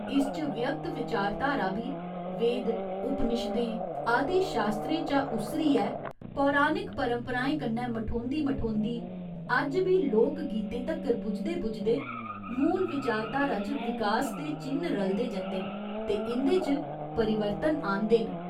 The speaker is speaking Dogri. इस च व्यक्त विचारधारा बी वेद, उपनिशदें आदि शास्त्रें चा उस्सरियै पौराणिक परंपराएं कन्नै मठोंदी मठोंदी अज्ज बी लोक गीतें तगर पुजदे पुजदे मूल विचारधारा च विकास दे चि'न्न रलदे जंदे न ते इं'दे च परिवर्तन आह्‌नदे न।